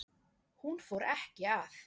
Hún fór ekki að